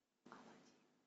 алладин